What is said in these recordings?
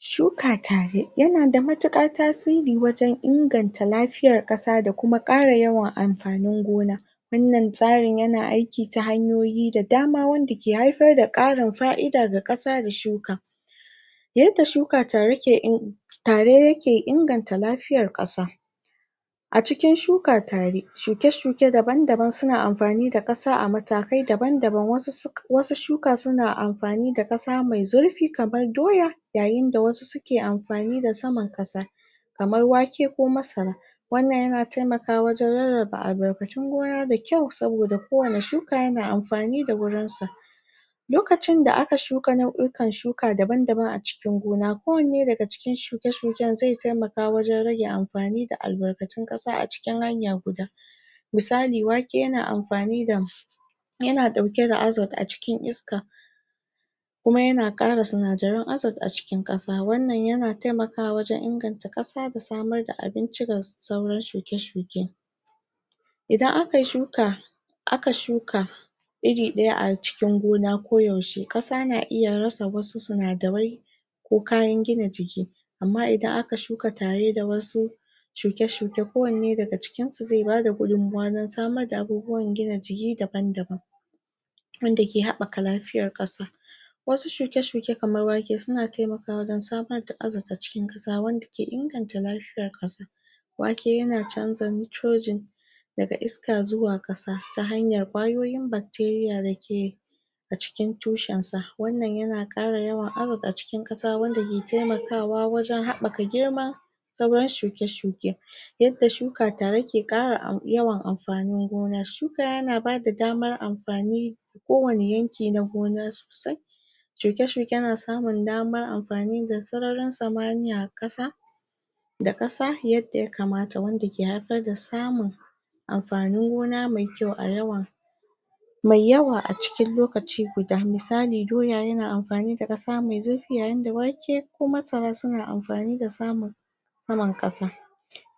Shuka tare yanada matuƙar tasiri wajen inganta lafiyar ƙasa da kuma ƙara yawan amfanin gona wannan tsarin yana aiki ta hanyoyi da dama wanda ke haifarda ƙarin fa'ida da ƙasa da shuka yadda shuka tare ke in tare yake inganta lafiyar ƙasa a cikin shuka tare, shuke-shuke daban-daban na amfani da ƙasa a matakai daban-daban, wasu shuka suna amfani da ƙasa mai zarfi kamar doya yayinda wasu suke amfani da saman ƙasa kamar wake ko masara wannan yana taimakawa wajen rarraba albarkatun gona da kyau sabpoda kowanna shuka yana amfani da wurin sa lokacin da aka shuka nau'ikan shuka daban-daban a cikin gona kowanne daga cikin shuke-shuken zai taimaka wajen rage albarkatun ƙasa a cikin hanya guda misali wake yana amfani yana ɗauke da Azote a cikin iska kuma yana ƙara sinadaran Azote a cikin ƙasa wannan yana taimkawa wajen inganta ƙasa da samarda abinci da sauran shuke-shuke idan aka yi shuka aka shuka iri ɗaya a cikin gonaa ko yaushe, ƙasa na iya rasa wasu sinadarai ko kayan gina jiki amma idan aka shuka tareda wasu shuke-shuke kowanne daga cikinsu zai bada gudunmawa na samarda abubuwan gina jiki daban-daban wanda ke haɓɓaka lafiyar wasu shiuke-shuke kamar wake suna taimakawa wajen samarda Azote a cikin kasa wanda ke inganta lafiyar wake yana canja Nitrogene daga iska zuwa ƙasa ta hanyar kwayoyin bacteria dake a cikin tushensa, wannan yana ƙara yawan Azote a cikin ƙasa wanda ke taimakawa wajen haɓɓaka girma da sauran shuke-shuke yadda shuka tare ke ƙara yawan amfanin gona, shuka yana bada damaramfani kowanne yanki na gona shuke-shuke na samun damar amfani da sararin samaniya a ƙasa da ƙasa yadda ya kamata wanda ke haifar da samun amfanin gona mai kyau a yawun mai yawa a cikin lokaci guda, misali doya yana amfani da ƙasa mai zurfi yayinda wake ko masara suna amfani da samun saman ƙasa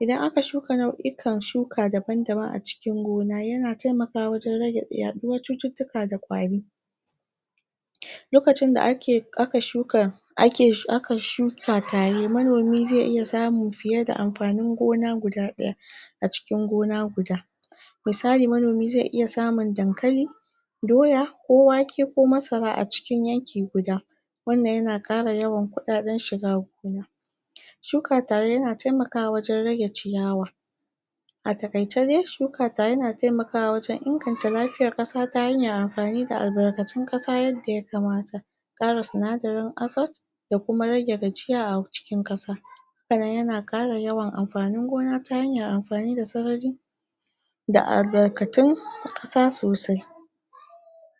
idan aka shuka nau'ikan shuka daban-daban a cikin gona yana taimakawa wajen rage yaɗuwar cututtuka da kwari lokacin da aka shuka ake, aka shuka tare, manomin zai iya samun fiyeda amfanin gona guda ɗaya a cikin gon guda misali manomi zai iya samun dankali doya ko wake ko masara a cikin yanki guda wannnan yana ƙara yawan kuɗaɗen shiga shuka tare yana taimakawa wajen rage ciyawa a taƙaice dai shuka tare yana taimakawa wajen inganta lafiyar ƙasa ta hanyar amfani da albarkatun ƙasa yadda ya kamata ƙara sinadarin Azote da kuma rage gajiya a cikin ƙasa hakanan yana ara yawan amfanin gon ata hanyaramfani da sarari da albarkatun ƙasa sosai